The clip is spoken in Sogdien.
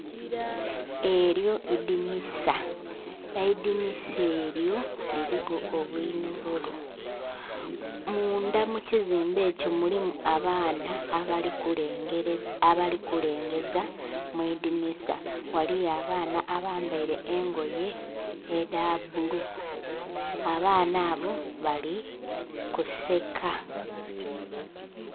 Elyo idhinhisa, eidhinhisa elyo liriku obunhololo mundha mukizimbe ekyo mulimu abaana abali kulengeza mwidinhisa, ghaliyo abaana abandhi abambere engoye edhabbulu abaana abo bali kuseka.